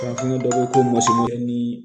ni